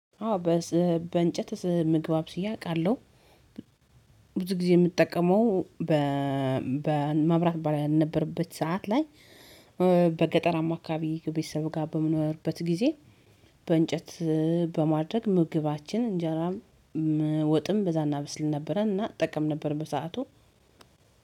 አዎ በእንጨት ምግብ አብስዬ አውቃለሁ። ብዙ ጊዜ የምጠቀመው በመብራት ባልነበረበት ሰዓት ላይ በገጠራማ አካባቢ ቤተሰብ ጋር በምኖርበት ጊዜ። በእንጨት በማድረግ ምግባችን እንጀራም ወጥም በዛ እናበስል ነበረ እና እጠቀም ነበር በሰአቱ።